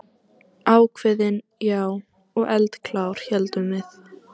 Ákveðin, já, og eldklár, héldum við.